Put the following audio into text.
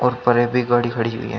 और परे भी गाड़ी खड़ी हुई है।